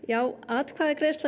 atkvæðagreiðsla